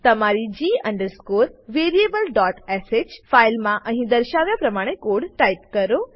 તમારી g variablesh ફાઈલમાં અહી દર્શાવ્યા પ્રમાણે કોડ ટાઈપ કરો